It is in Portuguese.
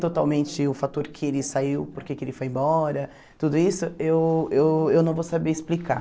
totalmente o fator que ele saiu, porque que ele foi embora, tudo isso, eu eu eu não vou saber explicar.